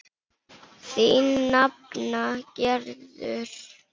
Þín nafna Gerður.